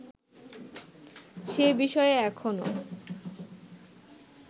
সে বিষয়ে এখনো